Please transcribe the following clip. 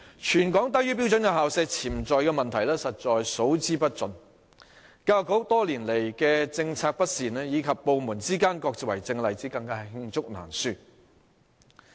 全港低於標準校舍潛在的問題實在數之不盡，教育局多年來的政策不善，以及部門之間各自為政的例子，更是罄竹難書。